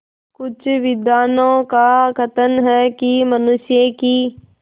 कुछ विद्वानों का कथन है कि मनुष्य की